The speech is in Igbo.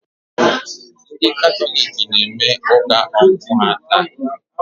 Ndị Katọlik na-eme ụka ọmụ ha taa.